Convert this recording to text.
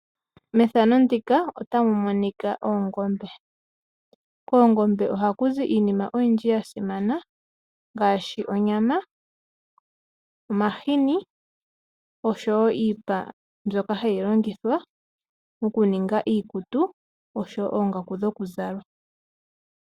Koongombe ohaku zi iinima oyindji yasimana ngaashi omashini, onyama osho woo iipa mbyoka hayi longithwa okuninga iikutu osho woo ongaku dhokuzala.